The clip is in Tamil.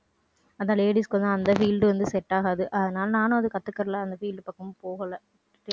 அதான் ladies க்கு வந்து அந்த field வந்து set ஆகாது அதனால நானும் அதை கத்துக்கிடலை. அந்த field பக்கமும் போகலை.